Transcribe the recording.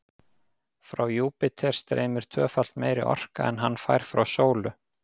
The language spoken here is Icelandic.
Frá Júpíter streymir tvöfalt meiri orka en hann fær frá sólu.